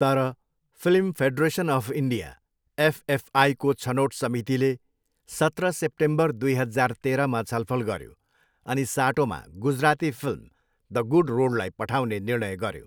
तर, film federation of India, एफएफआईको छनोट समितिले सत्र सेप्टेम्बर दुई हजार तेह्रमा छलफल गऱ्यो अनि साटोमा गुजराती फिल्म द गुड रोडलाई पठाउने निर्णय गर्यो।